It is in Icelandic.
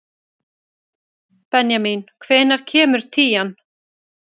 Benjamín, hvenær kemur tían?